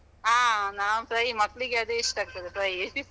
ಆ ನಾನ್ fry, ಮಕ್ಕ್ಳಿಗ್ ಅದೇ ಇಷ್ಟ ಆಗ್ತದೆ fry .